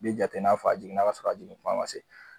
I bɛ jate i n'a fɔ a jiginna k'a sɔrɔ a jigin kuma man se.